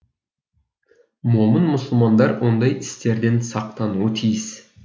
момын мұсылмандар ондай істерден сақтануы тиіс